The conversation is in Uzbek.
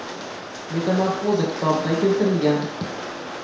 Metamorfoza” kitobida keltirilgan.